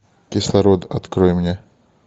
кислород открой мне